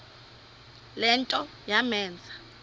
le nto yamenza